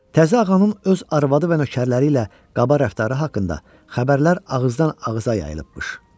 Təzə ağanın öz arvadı və nökərləri ilə qaba rəftarı haqqında xəbərlər ağızdan-ağıza yayılıbmış.